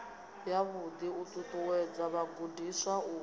yavhuḓi u ṱuṱuwedza vhagudiswa u